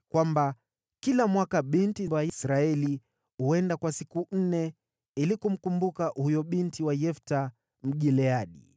kwamba kila mwaka binti wa Israeli huenda kwa siku nne ili kumkumbuka huyo binti wa Yefta, Mgileadi.